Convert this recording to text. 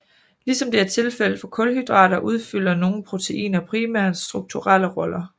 Ligesom det er tilfældet for kulhydrater udfylder nogle proteiner primært strukturelle roller